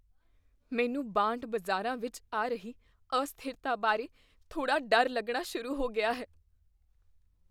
ਮੈਨੂੰ ਬਾਂਡ ਬਾਜ਼ਾਰਾਂ ਵਿੱਚ ਆ ਰਹੀ ਅਸਥਿਰਤਾ ਬਾਰੇ ਥੋੜ੍ਹਾ ਡਰ ਲੱਗਣਾ ਸ਼ੁਰੂ ਹੋ ਗਿਆ ਹੈ।